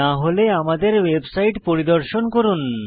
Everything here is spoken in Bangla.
না হলে আমাদের ওয়েবসাইট পরিদর্শন করুন